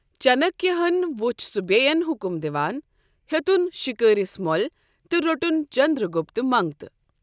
چانكیہ ہن وُچھ سُہ بیٚین حُکُم دِوان، ہیوٚتُن شِکٲرِس مٔو٘لہِ، تہٕ روٚٹُن چنٛدرٛگُپت منٛگتہٕ۔